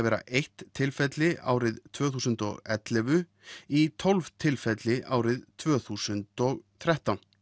vera eitt tilfelli árið tvö þúsund og ellefu í tólf tilfelli árið tvö þúsund og þrettán